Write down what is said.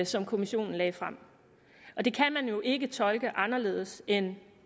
som kommissionen lagde frem og det kan man jo ikke tolke anderledes end